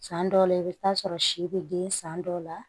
San dɔw la i bɛ taa sɔrɔ si be den san dɔw la